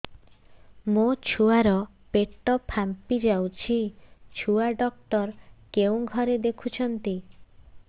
ମୋ ଛୁଆ ର ପେଟ ଫାମ୍ପି ଯାଉଛି ଛୁଆ ଡକ୍ଟର କେଉଁ ଘରେ ଦେଖୁ ଛନ୍ତି